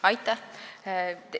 Aitäh!